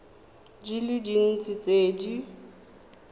di le dintsi tse di